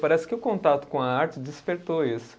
Parece que o contato com a arte despertou isso.